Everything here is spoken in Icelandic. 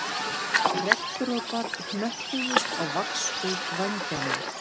Regndropar hnöppuðust á vaxhúð vængjanna